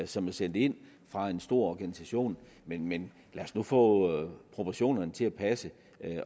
som er sendt ind fra en stor organisation men men lad os nu få proportionerne til at passe